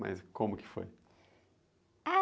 Mas como que foi?h...